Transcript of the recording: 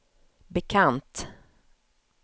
bekant